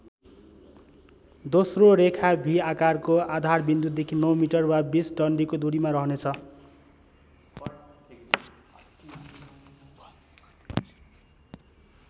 दोस्रो रेखा भि आकारको आधारविन्दुदेखि ९ मिटर वा २० डन्डीको दुरीमा रहनेछ।